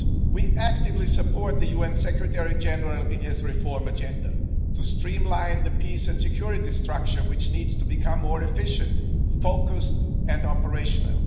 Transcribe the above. We actively support the UN Secretary General in his reform agenda to streamline the peace and security structure, which needs to become more efficient, focused and operational.